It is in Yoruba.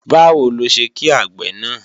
Báwo ló ṣe kí àgbè náà?